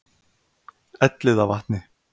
Elliðavatni